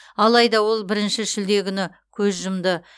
алайда ол бірінші шілде күні көз жұмды